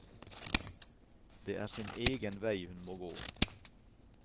Det er sin egen vei hun må gå.